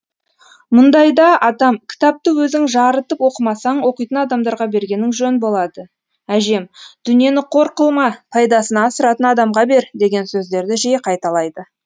мұндайда атам кітапты өзің жарытып оқымасаң оқитын адамдарға бергенің жөн болады әжем дүниені қор қылма пайдасына асыратын адамға бер деген сөздерді жиі қайталайды